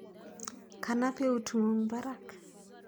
Kanap eut ng'ung' parak.